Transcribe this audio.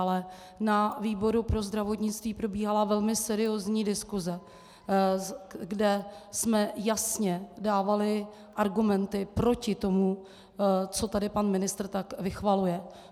Ale na výboru pro zdravotnictví probíhala velmi seriózní diskuse, kde jsme jasně dávali argumenty proti tomu, co tady pan ministr tak vychvaluje.